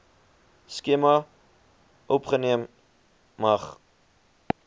skema opgeneem mag